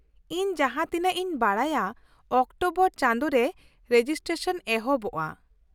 ᱼᱤᱧ ᱡᱟᱦᱟᱸᱛᱤᱱᱟᱹᱜ ᱤᱧ ᱵᱟᱰᱟᱭᱟ ᱚᱠᱴᱳᱵᱚᱨ ᱪᱟᱸᱫᱳ ᱨᱮ ᱨᱮᱡᱤᱥᱴᱮᱥᱚᱱ ᱮᱦᱚᱵᱚᱜᱼᱟ ᱾